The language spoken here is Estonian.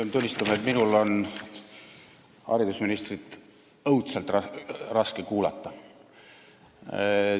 Pean tunnistama, et minul on haridusministrit õudselt raske kuulata.